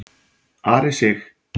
Ari Sig.